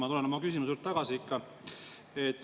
Ma tulen oma eelmise küsimuse juurde tagasi.